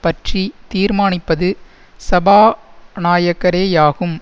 பற்றி தீர்மானிப்பது சபாநாயகரேயாகும்